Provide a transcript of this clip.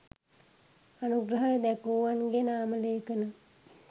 අනුග්‍රහය දැක්වූවන්ගේ නාමලේඛන